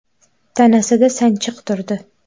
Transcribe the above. Tanasida sanchiq turdi.